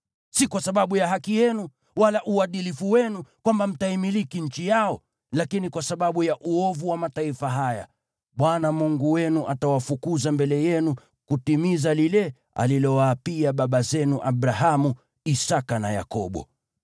Si kwa sababu ya haki yenu wala uadilifu wenu kwamba mtaimiliki nchi yao; lakini kwa sababu ya uovu wa mataifa haya, Bwana Mungu wenu atawafukuza mbele yenu, ili kutimiza lile alilowaapia baba zenu Abrahamu, Isaki na Yakobo.